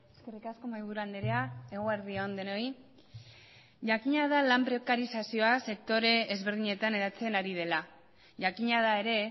eskerrik asko mahaiburu andrea eguerdi on denoi jakina da lan prekarizazioa sektore ezberdinetan eratzen ari dela jakina da ere